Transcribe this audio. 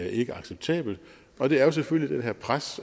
ikke acceptabelt og det er jo selvfølgelig dette pres